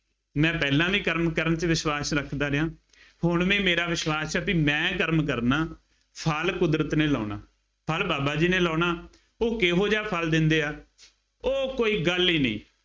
ਮੈਂ ਪਹਿਲਾਂ ਵੀ ਕਰਮ ਕਰਨ ਚ ਵਿਸ਼ਵਾਸ ਰੱਖਦਾ ਰਿਹਾਂ। ਹੁਣ ਵੀ ਮੇਰਾ ਵਿਸ਼ਵਾਸ ਹੈ ਬਈ ਮੈਂ ਕਰਮ ਕਰਨਾ, ਫਲ ਕੁਦਰਤ ਨੇ ਲਾਉਣਾ, ਫਲ ਬਾਬਾ ਜੀ ਨੇ ਲਾਉਣਾ, ਉਹ ਕਿਹੋ ਜਿਹਾ ਫਲ ਦਿੰਦੇ ਆ, ਉਹ ਕੋਈ ਗੱਲ ਹੀ ਨਹੀਂ।